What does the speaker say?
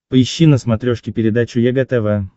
поищи на смотрешке передачу егэ тв